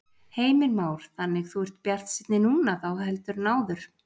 Heimir Már: Þannig þú ert bjartsýnni núna þá heldur en áður?